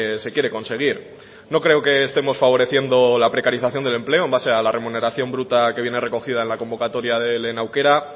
se quiere conseguir no creo que estemos favoreciendo la precarización del empleo en base a la remuneración bruta que viene recogida en la convocatoria de lehen aukera